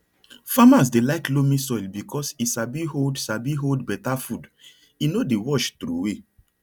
farmers dey like loamy soil because e sabi hold sabi hold better food e no dey wash troway